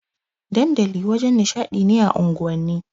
Dandali wajen nishaɗi ne a unguwanni.